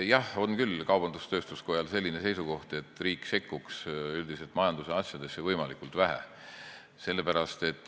Jah, kaubandus-tööstuskojal on küll selline seisukoht, et riik võiks üldiselt majandusasjadesse võimalikult vähe sekkuda.